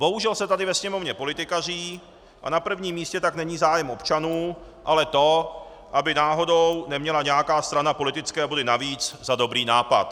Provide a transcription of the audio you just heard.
Bohužel se tady ve Sněmovně politikaří a na prvním místě tak není zájem občanů, ale to, aby náhodou neměla nějaká strana politické body navíc za dobrý nápad.